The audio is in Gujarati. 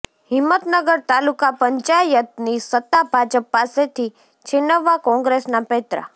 હિંમતનગર તાલુકા પંચાયતની સત્તા ભાજપ પાસેથી છીનવવા કોંગ્રેસના પેંતરા